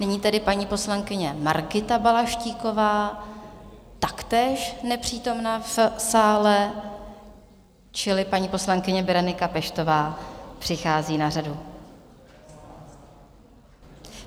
Nyní tedy paní poslankyně Margita Balaštíková, taktéž nepřítomná v sále, čili paní poslankyně Berenika Peštová přichází na řadu.